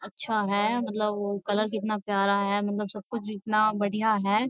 अच्छा है मतलब कलर कितना प्यारा है मतलब सब कुछ इतना बढ़िया है।